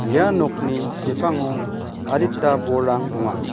ia nokni sepango adita bolrang donga.